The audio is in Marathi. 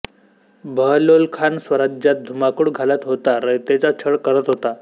बहलोलखान स्वराज्यात धुमाकूळ घालत होता रयतेचा छळ करत होता